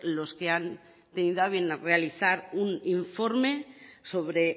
los que han tenido a bien realizar un informe sobre